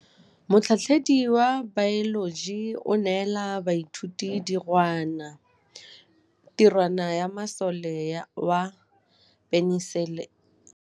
Motlhatlhaledi wa baeloji o neela baithuti tirwana ya mosola wa peniselene.